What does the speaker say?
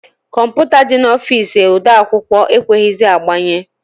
Kọmputa dị n'ọfici ode akwụkwọ e kweghịzị agbanye.